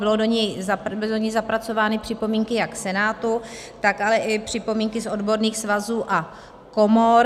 Byly do něj zapracovány připomínky jak Senátu, tak ale i připomínky z odborných svazů a komor.